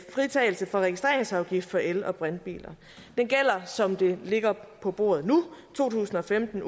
fritagelse for registreringsafgift for el og brintbiler den gælder som det ligger på bordet nu i to tusind og femten